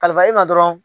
Kalilifa i ma dɔrɔn